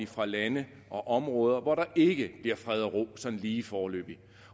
fra lande og områder hvor der ikke bliver fred og ro sådan lige foreløbig